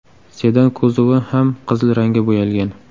Sedan kuzovi ham qizil rangga bo‘yalgan.